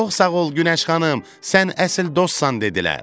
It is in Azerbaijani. Çox sağ ol Günəş xanım, sən əsl dostsan dedilər.